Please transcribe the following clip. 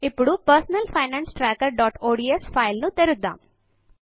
ఇప్పుడు personal finance trackerఒడిఎస్ file ను తెరుద్దము